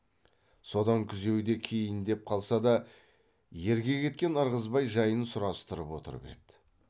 содан күзеуде кейіндеп қалса да ерге кеткен ырғызбай жайын сұрастырып отырып еді